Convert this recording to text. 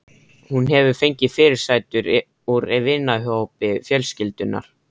Hún hefur fengið fyrirsætur úr vinahópi fjölskyldunnar.